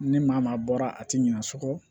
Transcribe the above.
Ni maa maa bɔra a tɛ ɲina sogo kɔ